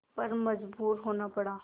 पर मजबूर होना पड़ा